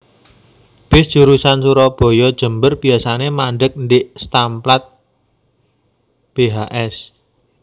Bis jurusan Surabaya Jember biasane mandheg ndhik stamplat Bhs